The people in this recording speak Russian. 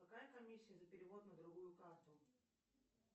какая комиссия за перевод на другую карту